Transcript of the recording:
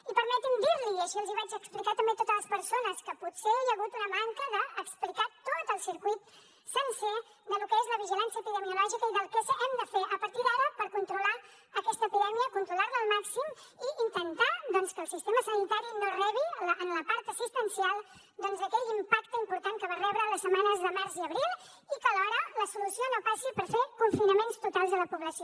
i permeti’m dir li i així els hi vaig explicar també a totes les persones que potser hi ha hagut una manca d’explicar tot el circuit sencer de lo que és la vigilància epidemiològica i del que hem de fer a partir d’ara per controlar aquesta epidèmia controlar la al màxim i intentar doncs que el sistema sanitari no rebi en la part assistencial aquell impacte important que va rebre les setmanes de març i abril i que alhora la solució no passi per fer confinaments totals a la població